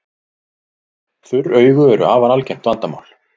Þurr augu eru afar algengt vandamál.